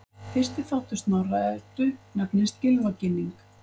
Fyrsti þáttur Snorra-Eddu nefnist Gylfaginning.